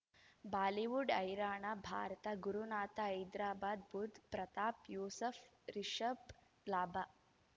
Bollywood ಹೈರಾಣ ಭಾರತ ಗುರುನಾಥ ಹೈದರಾಬಾದ್ ಬುಧ್ ಪ್ರತಾಪ್ ಯೂಸುಫ್ ರಿಷಬ್ ಲಾಭ